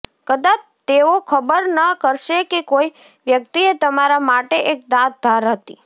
કદાચ તેઓ ખબર ન કરશે કે કોઈ વ્યક્તિએ તમારા માટે એક દાંત ધાર હતી